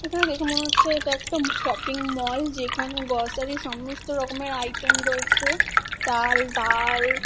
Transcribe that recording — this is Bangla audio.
এটা দেখে মনে হচ্ছে এটা একটা শপিং মল । যেখানে গ্রসারি -র সমস্ত রকমের আইটেম রয়েছে চাল ডাল।